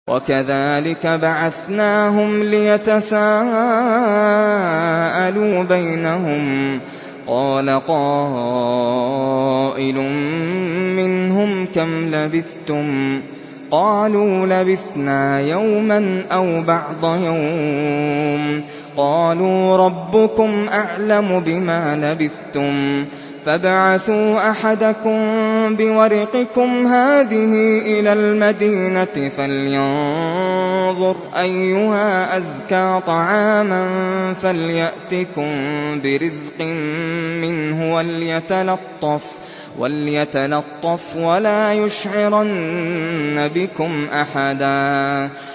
وَكَذَٰلِكَ بَعَثْنَاهُمْ لِيَتَسَاءَلُوا بَيْنَهُمْ ۚ قَالَ قَائِلٌ مِّنْهُمْ كَمْ لَبِثْتُمْ ۖ قَالُوا لَبِثْنَا يَوْمًا أَوْ بَعْضَ يَوْمٍ ۚ قَالُوا رَبُّكُمْ أَعْلَمُ بِمَا لَبِثْتُمْ فَابْعَثُوا أَحَدَكُم بِوَرِقِكُمْ هَٰذِهِ إِلَى الْمَدِينَةِ فَلْيَنظُرْ أَيُّهَا أَزْكَىٰ طَعَامًا فَلْيَأْتِكُم بِرِزْقٍ مِّنْهُ وَلْيَتَلَطَّفْ وَلَا يُشْعِرَنَّ بِكُمْ أَحَدًا